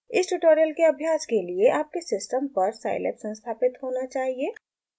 इस ट्यूटोरियल के अभ्यास के लिए आपके सिस्टम पर साईलैब संस्थापित होना चाहिए